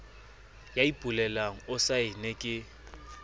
ya ipolelang o saenne ke